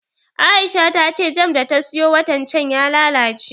Aisha ta ce jam da ta siyo watan can ya lalace